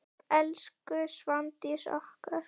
Elsku Svandís okkar.